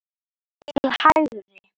til hægri